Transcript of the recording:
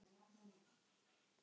Og körlum líka.